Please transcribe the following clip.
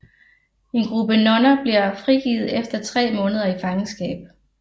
En gruppe nonner bliver frigivet efter tre måneder i fangenskab